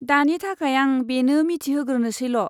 दानि थाखाय आं बेनो मिथिहोग्रोसैल'।